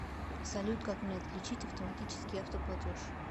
салют как мне отключить автоматический автоплатеж